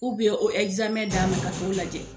o d'a ma a ka t'o lajɛ.